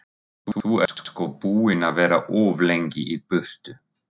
Þú ert sko búinn að vera of lengi í burtu.